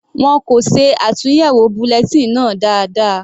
Wọn kò ṣe àtúnyẹwò bulletin náà dáadáa.